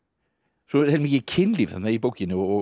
svo er mikið kynlíf í bókinni og